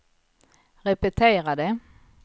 repetera det